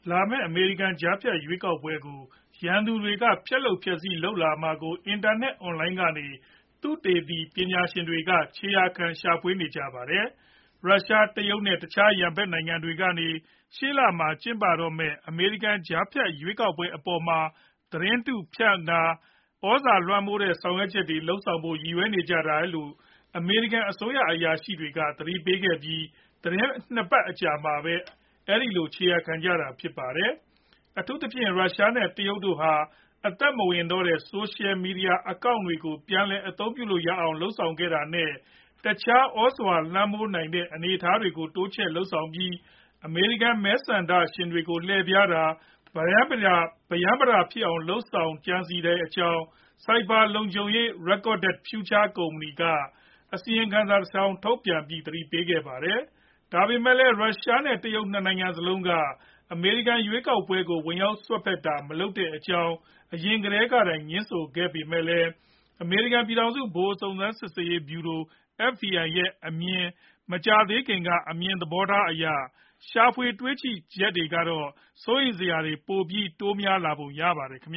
လာမဲ့ အမေရိကန် ကြားဖြတ် ရွေးကောက်ပွဲကို ရန်သူတွေက ဖျက်လုပ်ဖျက်ဆီး လုပ်လာမှာကို အင်တာနက် အွန်လိုင်းကနေ သုတေသီ ပညာရှင်တွေက ခြေရာခံ ရှာဖွေနေကြပါတယ်။ ရုရှား၊ တရုတ် နဲ့ တခြား ရန်ဖက်နိုင်ငံတွေကနေ ရှေ့လမှာ ကျင်းပတော့မဲ့ အမေရိကန် ကြားဖြတ်ရွေးကောက်ပွဲအပေါ်မှာ သတင်းမှားဖြန့်တာတွေ ၊ သြဇာလွှမ်းမိုးတဲ့ ဆောင်ရွက်ချက်တွေ လုပ်ဆောင်ဖို့ ရည်ရွယ်နေကြတယ်လို့ အမေရိကန် အစိုးရ အရာရှိတွေက သတိပေးခဲ့ပြီး သီတင်း ၂ပတ်အကြာမှာ အဲဒီလို ခြေရာခံကြတာဖြစ်ပါတယ်။ အထူးသဖြင့် ရုရှား နဲ့ တရုတ် တို့ဟာ အသက်မဝင်တော့တဲ့ Social Media Accounts တွေကို ပြန်လည် အသုံးပြုလို့ရအောင်လုပ်ဆောင်ခဲ့တာ နဲ့ တခြား သြဇာလွှမ်းမိုးနိုင်တဲ့ အနေအထားတွေကို တိုးချဲ့လုပ်ဆောင်ပြီး အမေရိကန် မဲဆန္ဒရှင်တွေကို လှည့်ဖြားတာတွေ၊ ပရမ်းပတာဖြစ်အောင်တွေ ဖြစ်အောင် ကြံစည်နေတဲ့အကြောင်း Cyber လုံခြုံရေး Recorded Future ကုမ္ပဏီက အစီရင်ခံစာတဆောင်ထုတ်ပြန်ပြီး သတိပေးခဲ့ပါတယ်။ ဒါပေမယ့်လည်း ရုရှား နဲ့ တရုတ် ၂ နိုင်ငံစလုံးက အမေရိကန် ရွေးကောက်ပွဲကို ဝင်ရောက်စွက်ဖက်တာတွေ မလုပ်ခဲ့တဲ့အကြောင်း အရင်ကတည်းကတိုင် ငြင်းဆိုခဲ့ပေမယ့်လည်း အမေရိကန် ပြည်ထောင်စု ဗဟို စုံစမ်းစစ်ဆေးရေးဗျူရို FBI ရဲ့ မကြာသေးခင်က အမြင်သဘောထားတွေအရ ရှာဖွေတွေ့ရှိချက်တွေကတော့ စိုးရိမ်စရာတွေ ပိုပြီး တိုးများလာပုံရပါတယ်။ နိုင်